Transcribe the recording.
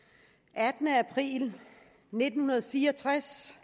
attende april nitten fire og tres